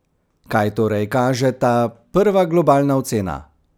Kaj torej kaže ta prva globalna ocena?